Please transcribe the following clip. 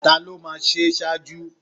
Ta ló máa ṣe ṣáájú?